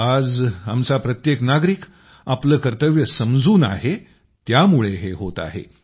आज आमचा प्रत्येक नागरिक आपलं कर्तव्य समजून आहे त्यामुळे हें होत आहे